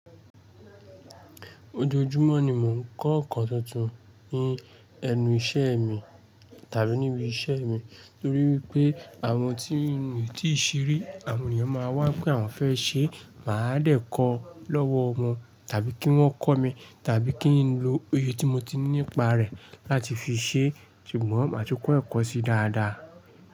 Ojoojúmọ́ ni mò ń kọ́ ǹkan tuntun ní ẹnu iṣẹ́ mi tàbí níbi iṣẹ́ mi nítorí wipé àwọn tí ń rí tíìṣiri àwọn èèyàn máa wá pé àwọn fẹ́ ṣe máa dẹ̀ kó lọ́wọ́ wọn tàbí kí wọ́n kọ́ mi tàbí kí n lo òye tí mo ti ní nípa rẹ̀ láti fi ṣe ṣùgbọ́n màá tún kọ́ ẹ̀kọ́ sí dáadáa.